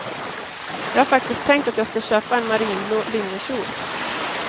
Jag har faktiskt tänkt att jag ska köpa en marinblå linnekjol.